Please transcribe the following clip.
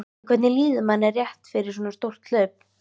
En hvernig líður manni rétt fyrir svo stórt hlaup?